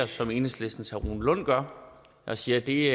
som enhedslistens herre rune lund gør og sige at det